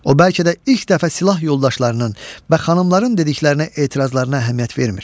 O, bəlkə də ilk dəfə silah yoldaşlarının və xanımların dediklərinə, etirazlarına əhəmiyyət vermir.